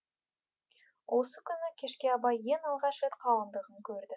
осы күні кешке абай ең алғаш рет қалыңдығын көрді